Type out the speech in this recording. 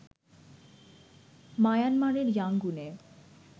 মায়ানমারের ইয়াংগুনে